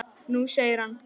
Nei segir hann.